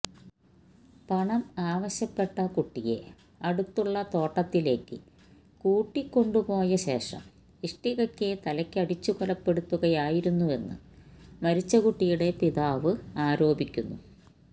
പണം ആവശ്യപ്പെട്ട കുട്ടിയെ അടുത്തുള്ള തോട്ടത്തിലേക്ക് കൂട്ടിക്കൊണ്ടു പോയ ശേഷം ഇഷ്ടികയ്ക്ക് തലയ്ക്കടിച്ചു കൊലപ്പെടുത്തുകയായിരുന്നുവെന്ന് മരിച്ച കുട്ടിയുടെ പിതാവ് ആരോപിക്കുന്നു